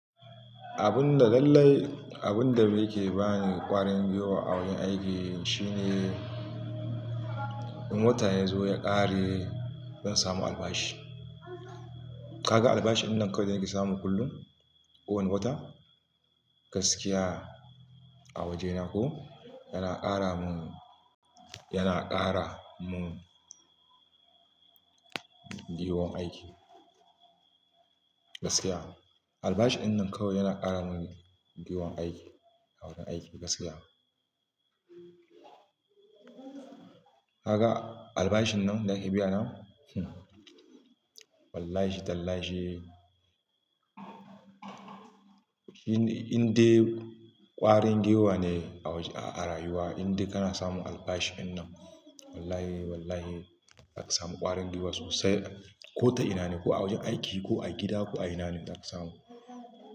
Abun da lallai, abun da yake bani ƙwarin giwa a wurin aiki shine, in wata ya zo ya ƙare, zan samu albashi. Kaga albashi wannan kawai da yake samu kullum, kowane wata, gaskiya a wajena ko, yana ƙara mun, yana ƙara mun gwiwar aiki gaskiya. Albashi wannan kawai yana ƙara mun gwiwar aiki a wurin aiki gaskiya. Kaka albashin nan da yake biya nan, hm wallahi tallahi, indai ƙwarin giwa ne a wajen, a rayuwa indai kana samun albashi wannan. Wallahi wallahi za ka samu ƙwarin giwa sosai. Ko ta ina ne, ko a wurin aiki ko a gida ko a ina ne za ka samu.